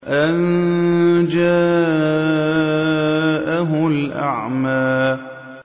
أَن جَاءَهُ الْأَعْمَىٰ